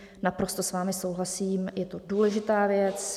Naprosto s vámi souhlasím, je to důležitá věc.